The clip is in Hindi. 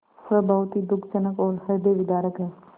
वह बहुत ही दुःखजनक और हृदयविदारक है